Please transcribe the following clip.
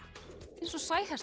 eins og